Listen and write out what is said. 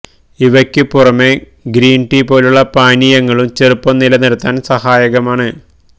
ഇവയ്ക്കു പുറമെ green tea പോലുള്ള പാനീയങ്ങളും ചെറുപ്പം നില നിര്ത്താന് സഹായകമാണ്